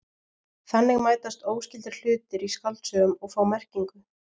Þannig mætast óskyldir hlutir í skáldsögum og fá merkingu.